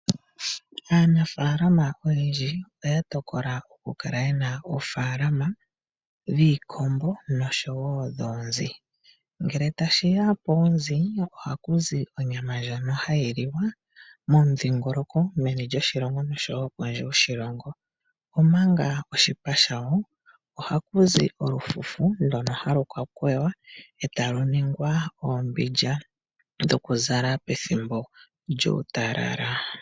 Aanafaalama oyendji, oya tokola okukala yena oofaalama dhiikombo noshowo dhoonzi, ngele tashiya poozi ohakuzi onyama ndjono hayi liwa momudhingoloko meni lyoshilongo noshowo kondje yoshilongo, omanga oshipa shayo, ohakuzi olufufu ndono halu kakweywa e taluningwa oombindja dhokuzala pethimbo lyuutalala.